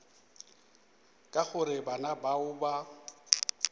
ka gore bana bao ba